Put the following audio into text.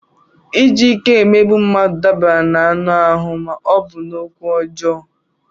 Iji ike emegbu mmadụ dabara n'anụ ahụ ma ọ bụ n'okwu ọjọọ.